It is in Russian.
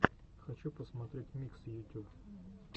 хочу посмотреть миксы ютюб